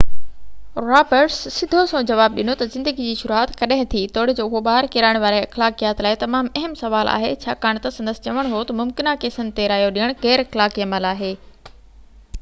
Roberts سڌو سنئون جواب ڏنو ته زندگي جي شروعات ڪڏهن ٿي، توڙي جو اهو ٻار ڪيرائڻ واري اخلاقيات لاءِ تمام اهم سوال آهي، ڇاڪاڻ ته سندس چوڻ هيو ته ممڪنه ڪيسن تي رايو ڏيڻ غيراخلاقي عمل آهي